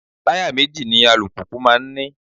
Taya méjì ni alùpùpù máa ń ní.